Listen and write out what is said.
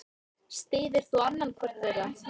Styður þú annan hvorn þeirra?